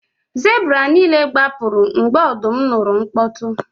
Zebra niile gbapụrụ mgbe ọdụm nụrụ mkpọtụ